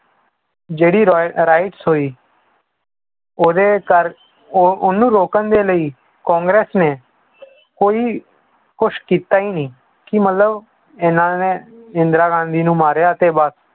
ਜਿਹੜੀ ਰੋ~ rights ਹੋਈ ਉਹਦੇ ਕਰ~ ਉਹ ਉਹਨੂੰ ਰੋਕਣ ਦੇ ਲਈ ਕਾਂਗਰਸ ਨੇ ਕੋਈ ਕੁਛ ਕੀਤਾ ਹੀ ਨੀ, ਕਿ ਮਤਲਬ ਇਹਨਾਂ ਨੇ ਇੰਦਰਾ ਗਾਂਧੀ ਨੂੰ ਮਾਰਿਆ ਤੇ ਬਸ